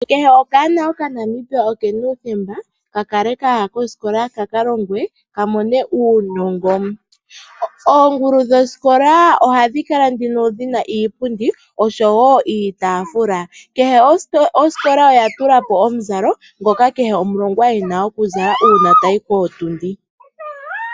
Kehe okanona okaNamibia okena uuthembo oku kala kaya koosikola kakalongwe kamone uunongo. Oongulu dhosikola ohadhi kala nduno dhina iipundi osho woo iitaafula, kehe osikola oya tula po omukalo ngoka kehe omulongwa e na oku zala uuna tayi kootundi